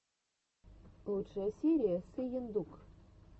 лучшая серия сыендук